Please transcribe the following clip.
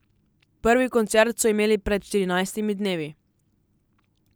Prvi koncert so imeli pred štirinajstimi dnevi.